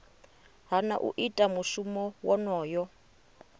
hana u ita mushumo wonoyo